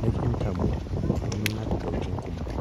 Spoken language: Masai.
nekintamuoi neminap ntokitin kumok.